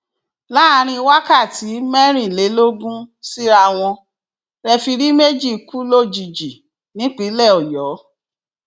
láàrin wákàtí mẹrìnlélógún síra wọn rẹfirí méjì kú lójijì nípínlẹ ọyọ